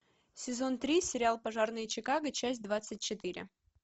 сезон три сериал пожарные чикаго часть двадцать четыре